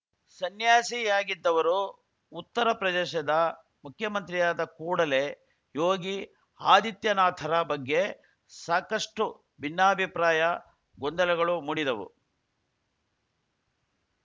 ಸನ್ಯಾಸಿಯಾಗಿದ್ದವರು ಉತ್ತರ ಪ್ರದೇಶದ ಮುಖ್ಯಮಂತ್ರಿಯಾದ ಕೂಡಲೇ ಯೋಗಿ ಆದಿತ್ಯನಾಥರ ಬಗ್ಗೆ ಸಾಕಷ್ಟು ಭಿನ್ನಾಭಿಪ್ರಾಯ ಗೊಂದಲಗಳು ಮೂಡಿದವು